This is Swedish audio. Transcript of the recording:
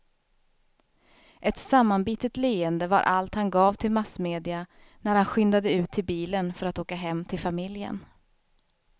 Ett sammanbitet leende var allt han gav till massmedia när han skyndade ut till bilen för att åka hem till familjen.